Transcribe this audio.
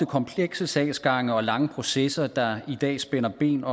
komplekse sagsgange og lange processer der i dag spænder ben